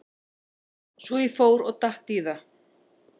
Svo ég fór og datt í það.